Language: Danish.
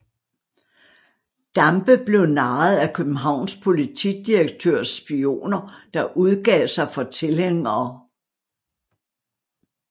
Dampe blev narret af Københavns politidirektørs spioner der udgav sig for tilhængere